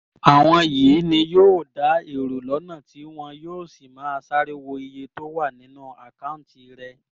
àwọn yìí ni yóò da èrò lọ́nà tí wọn yóò sì máa sáré wo iye tó wà nínú àkáùntì rẹ